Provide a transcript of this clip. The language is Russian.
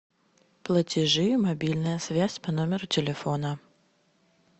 платежи мобильная связь по номеру телефона